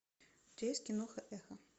у тебя есть киноха эхо